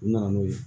U nana n'o ye